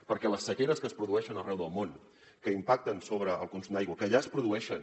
perquè les sequeres que es produeixen arreu del món que impacten sobre el consum d’aigua que ja es produeixen